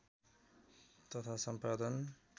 तथा सम्पादन